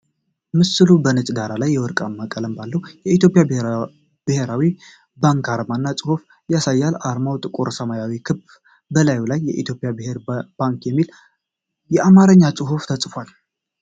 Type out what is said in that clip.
ምስሉ በነጭ ዳራ ላይ የወርቃማ ቀለም ባለው የኢትዮጵያ ብሔራዊ ባንክ አርማ እና ጽሁፎች ያሳያል። አርማው ጥቁር ሰማያዊ ክብ በላዩ ላይ "የኢትዮጵያ ብሔራዊ ባንክ" የሚል የአማርኛ ጽሁፍ ተጽፏል።